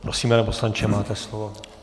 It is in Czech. Prosím, pane poslanče, máte slovo.